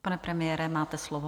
Pane premiére, máte slovo.